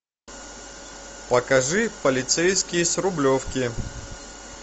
покажи полицейский с рублевки